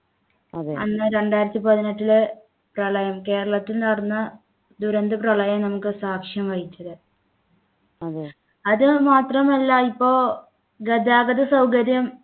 അന്ന് രണ്ടായിരത്തി പതിനെട്ടിലെ പ്രളയം കേരളത്തിൽ നടന്ന ദുരന്ത പ്രളയം നമുക്ക് സാക്ഷ്യം വഹിച്ചത് അതുമാത്രമല്ല ഇപ്പോൾ ഗതാഗത സൗകര്യം